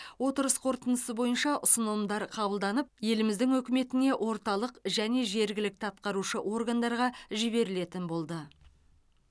отырыс қорытындысы бойынша ұсынымдар қабылданып еліміздің үкіметіне орталық және жергілікті атқарушы органдарға жіберілетін болды